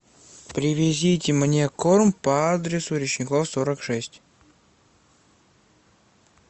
привезите мне корм по адресу речников сорок шесть